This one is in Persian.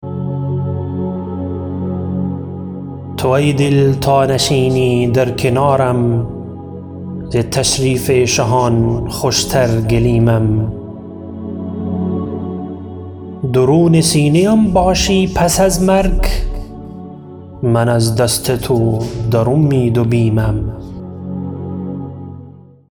تو ای دل تا نشینی در کنارم ز تشریف شهان خوشتر گلیمم درون سینه ام باشی پس از مرگ من از دست تو در امید و بیمم